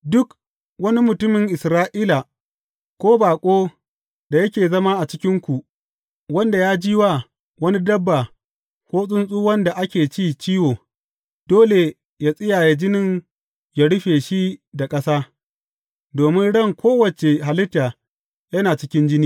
Duk wani mutumin Isra’ila ko baƙon da yake zama a cikinku wanda ya ji wa wani dabba ko tsuntsu wanda ake ci ciwo, dole yă tsiyaye jinin yă rufe shi da ƙasa, domin ran kowace halitta yana cikin jini.